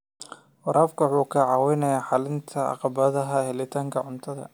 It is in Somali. Waraabka wuxuu caawiyaa xallinta caqabadaha helitaanka cuntada.